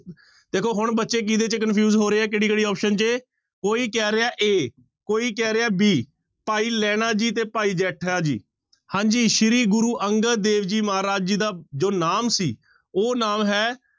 ਦੇਖੋ ਹੁਣ ਬੱਚੇ ਕਿਹਦੇ ਚ confuse ਹੋ ਰਹੇ ਹੈ ਕਿਹੜੀ ਕਿਹੜੀ option ਚ ਕੋਈ ਕਹਿ ਰਿਹਾ a ਕੋਈ ਕਹਿ ਰਿਹਾ b ਭਾਈ ਲਹਿਣਾ ਜੀ ਤੇ ਭਾਈ ਜੇਠਾ ਜੀ, ਹਾਂਜੀ ਸ੍ਰੀ ਗੁਰੂ ਅੰਗਦ ਦੇਵ ਜੀ ਮਹਾਰਾਜ ਜੀ ਦਾ ਜੋ ਨਾਮ ਸੀ, ਉਹ ਨਾਮ ਹੈ